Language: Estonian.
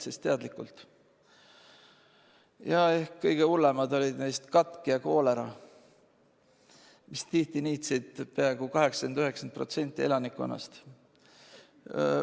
Kõige hullemad neist haigustest olid ehk katk ja koolera, mis tihti niitsid peaaegu 80–90% elanikkonnast.